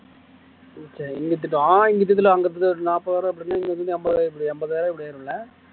சரி இங்க திட்டம் இங்க ஒரு நாற்பதாயிரம் அப்படின்னா ஐம்பதாயிரம் ஆயிரும்ல